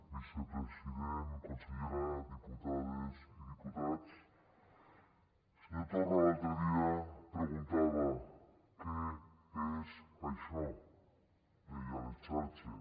vicepresident consellera diputades i diputats el senyor torra l’altre dia preguntava què és això deia a les xarxes